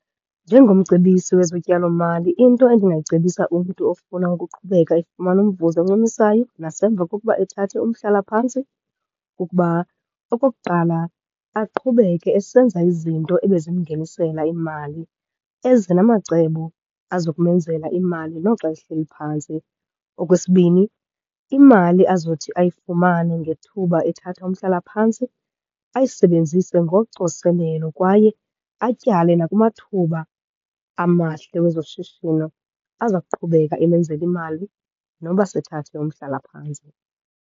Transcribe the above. Njengomcebisi wezotyalomali, into endingayicebisa umntu ofuna ukuqhubeka efumana umvuzo oncumisayo nasemva kokuba ethathe umhlalaphantsi kukuba okokuqala, aqhubeke esenza izinto ebezimngenisela imali. Eze namacebo azokumenzela imali noxa ehleli phantsi. Okwesibini, imali azothi ayifumane ngethuba ethatha umhlalaphantsi ayisebenzise ngocoselelo kwaye atyale nakumathuba amahle wezoshishino aza kuqhubeka emenzela imali noba sethathe umhlalaphantsi.